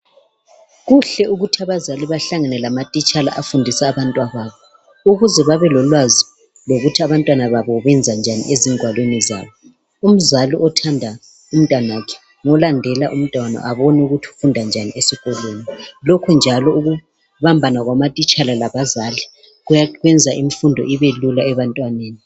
Kuhle ukuthi abazali bahlangane lamathitshala abafundisa abantababo, ukuze babe lolwazi lokuthi abantwana babo benza njani ezigwalweni zabo. Umzali othanda umtanakhe ngolandela umntwana abone ukuthi ufunda njani esikolweni. Lokhu njalo ukubambana kwamathitshala labazali kwenza imfundo Ibelula ebantwaneni.